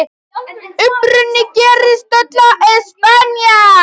Uppruni gerist öll á Spáni.